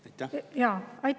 Aitäh!